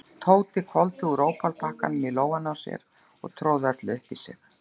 Tóti hvolfdi úr ópalpakkanum í lófann á sér og tróð öllu upp í sig.